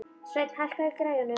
Sveinn, hækkaðu í græjunum.